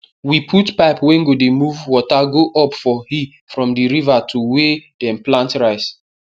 we put pipe wey go dey move water go up for hill from di river to wey dem plant rice